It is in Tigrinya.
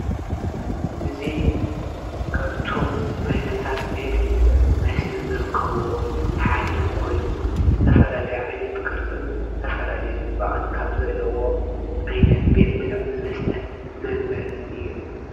እዙ ካብቶም ዓይነታት ቤት ሚልዑ መስተን ዘርከብዎ ሓደ ኾይኑ፤ ዝተፈላለይ ዓይነት ቅርጽን ዝተፈላለይ ጽባቕን ካብ ዘለዎ ዓይነት ቤት ሚልዑም መስተን መንበር እዩ።